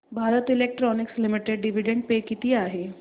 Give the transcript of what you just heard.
Bharat Electronics Limited dividend pay किती आहे